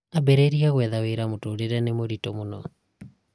ambĩrĩria gwetha wĩra mũtũrĩro nĩ mũirĩtũ mũno